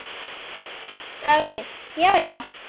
Davíð Já, já.